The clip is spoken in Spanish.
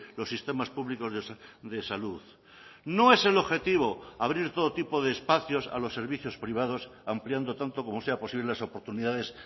los sistemas públicos de salud no es el objetivo abrir todo tipo de espacios a los servicios privados ampliando tanto como sea posible las oportunidades